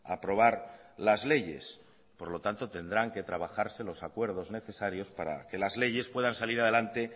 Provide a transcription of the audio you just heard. aprobar las leyes por lo tanto tendrán que trabajarse los acuerdos necesarios para que las leyes puedan salir adelante